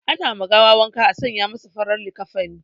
Ana ma gawa wanka a sanya masa farar likafani